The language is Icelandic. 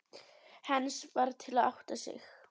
Heinz varð fyrri til að átta sig.